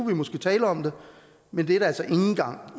vi måske tale om det men det er det altså ikke engang